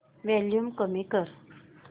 volume कमी कर